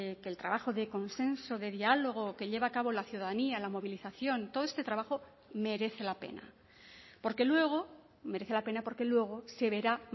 que el trabajo de consenso de diálogo que lleva a cabo la ciudadanía la movilización todo este trabajo merece la pena porque luego merece la pena porque luego se verá